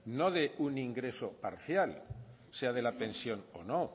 no de un ingreso parcial sea de la pensión o no